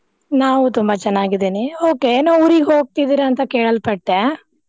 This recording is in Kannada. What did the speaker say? ನಾವು ತುಂಬಾ ಚೆನ್ನಾಗಿದೇನೆ. Okay ಏನೊ ಊರಿಗ್ ಹೋಗ್ತಿದೀರಾ ಅಂತಾ ಕೇಳಲ್ಪಟ್ಟೆ.